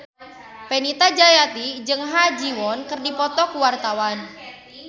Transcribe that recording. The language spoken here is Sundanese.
Fenita Jayanti jeung Ha Ji Won keur dipoto ku wartawan